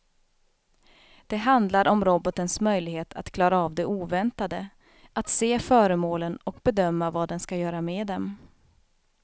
Det handlar om robotens möjlighet att klara av det oväntade, att se föremålen och bedöma vad den ska göra med dem.